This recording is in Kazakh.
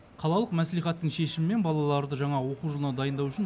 қалалық мәслихаттың шешімімен балаларды жаңа оқу жылына дайындау үшін